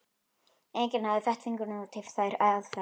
Enginn hafði fett fingur út í þær aðferðir.